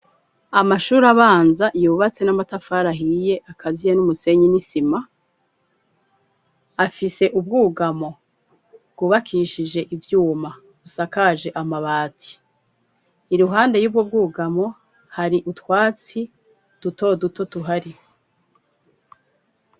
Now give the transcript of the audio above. amashuri abanza yubatse n'amatafari ahiye akaziye n'umusenyi n'isima afise ubwugamo bwubakishije ivyuma busakaje amabati iruhande y'ubwo bwugamo hari utwatsi duto duto tuhari.